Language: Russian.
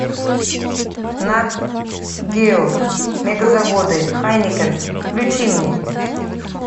нат гео мегазаводы хайнекен включи мне